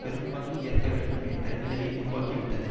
பெரும்பங்கு ஏற்க வேண்டும் என்ற நிலையை உருவாக்கிவிட்டது